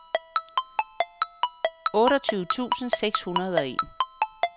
otteogtyve tusind seks hundrede og en